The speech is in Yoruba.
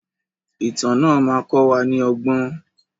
Ìtàn náà má kọ wa ní ọgbọ́n.